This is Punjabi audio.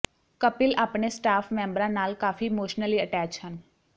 ਕਪਿਲ ਆਪਣੇ ਸਟਾਫ ਮੈਂਬਰਾਂ ਨਾਲ ਕਾਫੀ ਇਮੋਸ਼ਨਲੀ ਅਟੈਚ ਹਨ